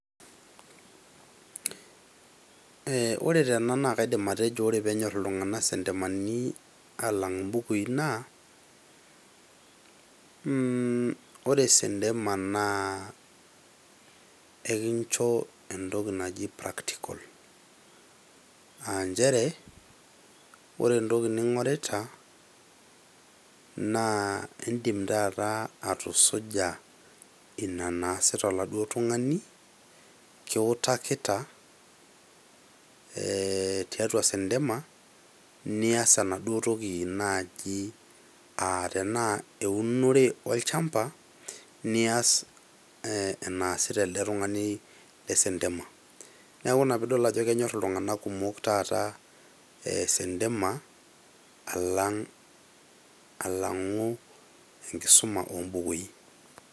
Ee ore tena naa kaidim atejo ore penyor iltunganak isentemani alang imbukui naa mmh ore sentema naa enkincho entoki naji practical aa nchere ore entoki ningorita naa indim taata atusuja ina naasita oladuoo tungani kiutakita tiatua sentema, nias enaduo toki naji tenaa eunore olchamba, olchamba nias ee enaasita elde tungani te sentema . Niaku ina pidol ajo kenyor iltunganak kumok taata sentema alang , alangu enkisuma ombukui.